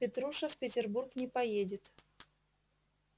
петруша в петербург не поедет